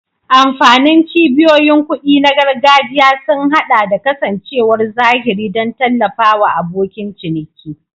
Amfanin cibiyoyin kuɗi na gargajiya sun haɗa da kasancewar zahiri don tallafawa abokin ciniki.